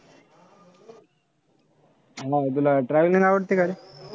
हम्म तुला traveling आवडतं का रे?